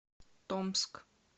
томск